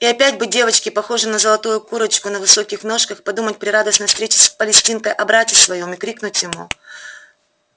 и опять бы девочке похожей на золотую курочку на высоких ножках подумать при радостной встрече с палестинкой о брате своём и крикнуть ему